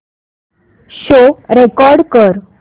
show record कर